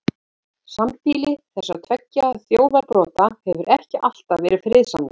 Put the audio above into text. Sambýli þessara tveggja þjóðarbrota hefur ekki alltaf verið friðsamlegt.